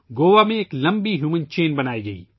گوا میں ایک لمبی انسانی زنجیر بنائی گئی